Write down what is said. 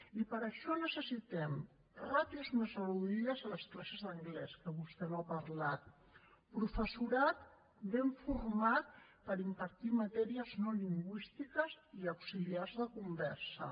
i per això necessitem ràtios més reduïdes a les classes d’anglès que vostè no n’ha parlat professorat ben format per impartir matèries no lingüístiques i auxiliars de conversa